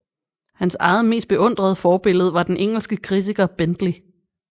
Hans eget mest beundrede forbillede var den engelske kritiker Bentley